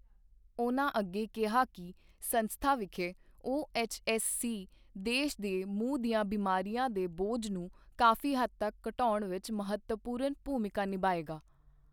ਉਨ੍ਹਾਂ ਅੱਗੇ ਕਿਹਾ ਕਿ ਸੰਸਥਾ ਵਿਖੇ ਓਐਚਐਸਸੀ ਦੇਸ਼ ਦੇ ਮੂੰਹ ਦੀਆਂ ਬਿਮਾਰੀਆਂ ਦੇ ਬੋਝ ਨੂੰ ਕਾਫ਼ੀ ਹੱਦ ਤੱਕ ਘਟਾਉਣ ਵਿੱਚ ਮਹੱਤਵਪੂਰਨ ਭੂਮਿਕਾ ਨਿਭਾਏਗਾ।